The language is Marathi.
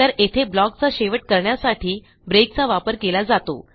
तर येथे ब्लॉक चा शेवट करण्यासाठी ब्रेकचा वापर केला जातो